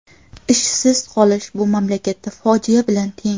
Ishsiz qolish bu mamlakatda fojia bilan teng.